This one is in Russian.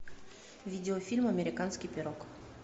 видеофильм американский пирог